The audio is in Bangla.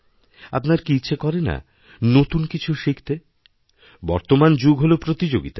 আপনার কি ইচ্ছে করে না নতুন কিছুশিখতে বর্তমান যুগ হল প্রতিযোগিতার